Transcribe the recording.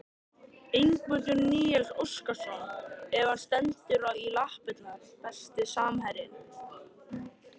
Ingimundur Níels Óskarsson ef hann stendur í lappirnar Besti samherjinn?